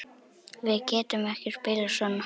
Við getum ekki spilað svona.